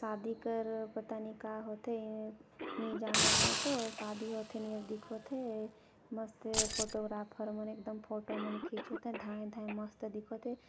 शादी कर पता नई का होथे ये नई जानव मै तो शादी होथे नई होये कस दिखत हे.. मस्त फोटोग्राफर मन एकदम फोटो मन ला खींचत हे धाय-धाय मस्त दिखत हे।